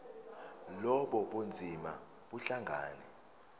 lobu bunzima buhlangane